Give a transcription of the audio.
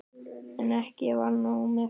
En ekki var nóg með það.